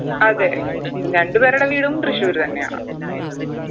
അതെ രണ്ട് പേരുടെ വീടും തൃശൂർ തന്നെയാണ്